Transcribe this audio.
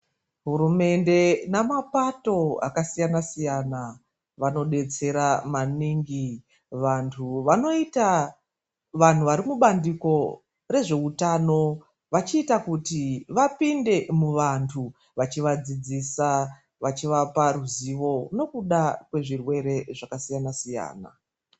Hurumende nemapato akasiyana siyana vanodetsera maningi vantu vari mubandiko rezveutano vachiita kuti vapinde muvantu vachivadzidzisa, vachivapa ruzivo nokuda kwezvirwere zvakasiyana siyana.